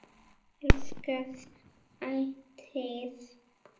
Elska þig ætíð.